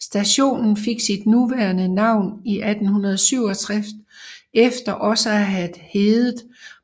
Stationen fik sit nuværende navn i 1867 efter også at have hedde